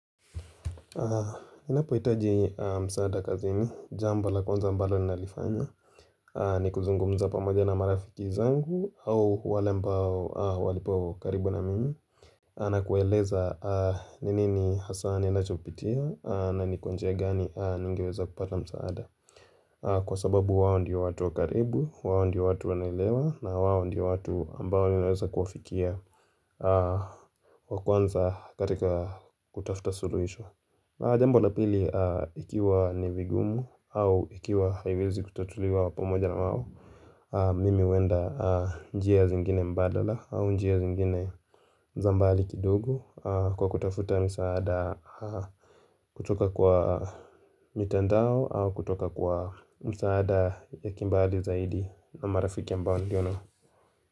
Ninapo hitaji msaada kazini, jambo la kwanza ambalo ni nalifanya ni kuzungumza pamoja na marafiki zangu au wale ambao wapo karibu na mimi na kueleza ni nini hasa ninachopitia na nikwa njia gani ningiweza kupata msaada Kwa sababu wawo ndiyo watu karibu, wawo ndiyo watu wanelewa na wawo ndiyo watu ambao niweza kufikia wakwanza katika kutafuta suruhisho Jambo la pili ikiwa nivigumu au ikiwa haiwezi kutatuliwa pamoja na wao Mimi huenda njia zingine mbadala au njia zingine zambali kidugu Kwa kutafuta msaada kutoka kwa mitandao au kutoka kwa msaada ya kimbali zaidi na marafiki ambao niliona.